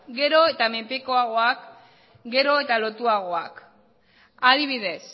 gero eta menpekoagoak gero eta lotuagoak adibidez